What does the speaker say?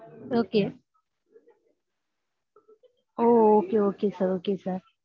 okay hmm okay okay sir okay sir